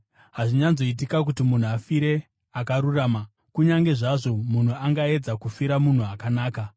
Hazviwanzoitika kuti munhu afire akarurama, kunyange zvazvo munhu angaedza kufira munhu akanaka.